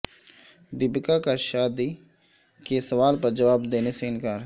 دیپیکا کا شادی کے سوال پر جواب دینے سے انکار